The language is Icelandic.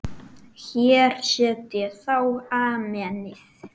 Hér set ég þá Amenið.